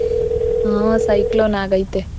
ಹಾ cyclone ಆಗೈತೆ.